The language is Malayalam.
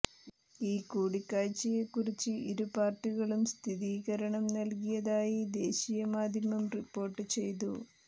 ഈ കൂടിക്കാഴ്ചയെ കുറിച്ച് ഇരു പാര്ട്ടികളും സ്ഥിരീകരണം നല്കിയതായി ദേശീയ മാധ്യമം റിപ്പോര്ട്ട് ചെയ്തു